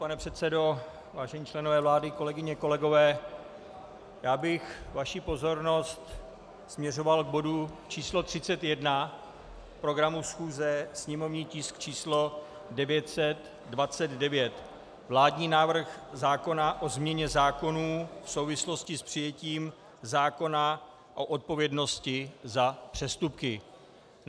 Pane předsedo, vážení členové vlády, kolegyně kolegové, já bych vaši pozornost směřoval k bodu číslo 31 programu schůze, sněmovní tisk číslo 929, vládní návrh zákona o změně zákonů v souvislosti s přijetím zákona o odpovědnosti za přestupky.